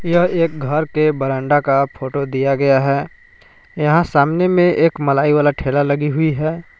यह एक घर के बरांडा का फोटो दिया गया है यहां सामने में एक मलाई वाला ठेला लगी हुई है।